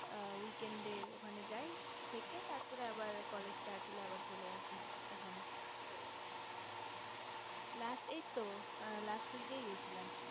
a week and day এ ওখানে জাই থেকে তারপরে college start হলে আবার চলে আসি এখানে last এই তো last week এই গেছিলাম